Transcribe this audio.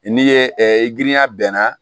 N'i ye girinya bɛnna